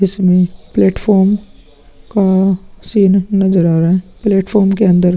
जिसमें प्लेटफॉर्म का सीन नजर आ रहा है। प्लेटफार्म के अंदर --